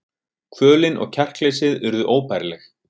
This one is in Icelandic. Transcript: Kvölin og kjarkleysið urðu óbærileg.